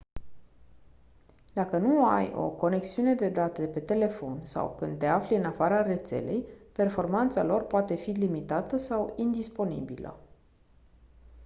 dacă nu ai o conexiune de date pe telefon sau când te afli în afara rețelei performanța lor poate fi limitată sau indisponibilă